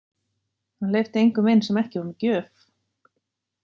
Hann hleypti engum inn sem ekki var með gjöf.